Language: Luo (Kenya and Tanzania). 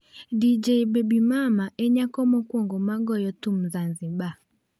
Dj Babymama e nyako mokuongo magoyo thum zanzibar